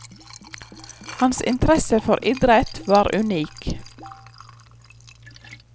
Hans interesse for idrett var unik.